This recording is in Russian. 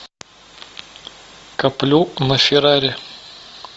коплю на феррари